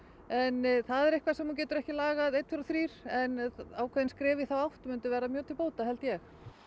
en það er eitthvað sem þú getur ekki lagað einn tveir og þrír en ákveðin skref á þá átt myndu verða mjög til bóta held ég